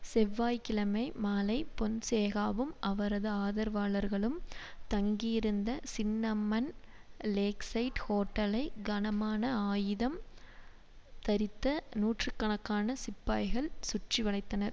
செவ்வாய் கிழமை மாலை பொன்சேகாவும் அவரது ஆதரவாளர்களும் தங்கியிருந்த சின்னமன் லேக்சைட் ஹோட்டலை கனமான ஆயுதம் தரித்த நூற்று கணக்கான சிப்பாய்கள் சுற்றி வளைத்தனர்